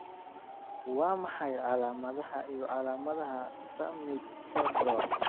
Waa maxay calaamadaha iyo calaamadaha Summitt syndrome?